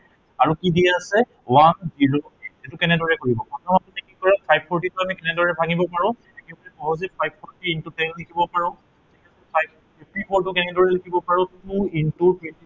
আৰু কি দিয়া আছে one zero eight এইটো কেনেদৰে কৰিব। প্ৰথম আপুনি কি কৰিব, five four three টো আমি কেনেদৰে ভাঙিব পাৰো, সহজেই five forty into ten লিখিব পাৰো fifty four টো আমি কেনেদৰে লিখিব পাৰো আৰু two into